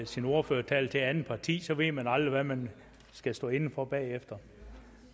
sin ordførertale til et andet parti så ved man aldrig hvad man skal stå inde for bagefter